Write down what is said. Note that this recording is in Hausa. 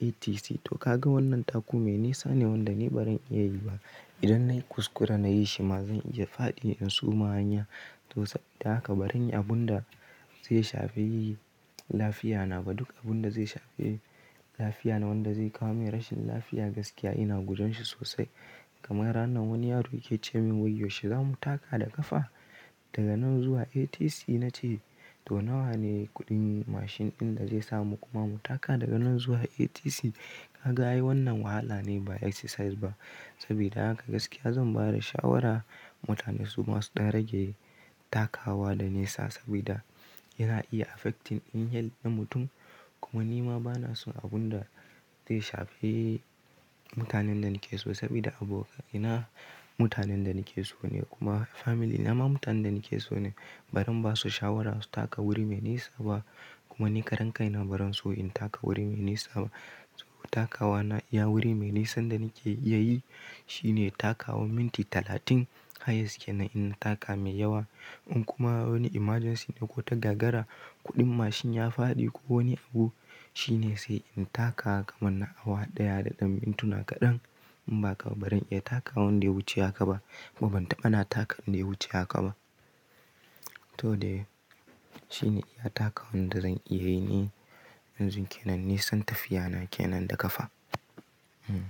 ATC, to ka ga wannan taku mai nisa ne wanda ni barin iya yi ba. Idan nayi kuskura nayi shi ma, zan iya faɗi in suma s hanya, to saboda haka barin yi abun da zai shafe yi lafiya na ba. Duk abun da zai shafe lafiya na wanda zai kawo min rashin lafiya gaskiya ina gujon shi sosai. Kamar ranan wani yaro yake ce min wai "Yaushe zamu taka da ƙafa"? Daga nan zuwa ATC" na ce "to nawa ne kuɗin mashin ɗin da zai samu kuma mu taka daga nan zuwa ATC?" Kaga ai wannan wahala ne ba exercise ba, saboda haka gaskiya zan bada shawara mutane suma su ɗan rage takawa da nisa, sabida yana iya affecting iyal in mutum, kuma ni ma bana son abun da zai shafe mutanen da nake so saboda abu ina mutanen da nake so ne kuma family na ma mutanen da nake so ne, barin ba su shawara su taka wuri mai nisa ba kuma ni karan kai na barin so in taka wuri mai nisa ba. To takawa na iya wuri mai nisan da nake iya yi shine takawa minti talatin, hayas kenan inna taka mai yawa in kuma wani emergency ne ko ta gagara kuɗin mashin ya faɗi ko wani abu shine sai in taka kamar na awa ɗaya da ɗan mintuna kaɗan, in ba haka ba barin iya takawan da ya wuce haka ba. Kuma ban taɓa na taka inda ya wuce haka ba. To dai shine iya takawa wanda zan iya yi ni, yanzu kenan nisan tafiya na kenan da ƙafa hmmm.